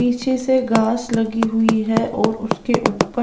पीछे से घास लगी हुई है और उसके ऊपर--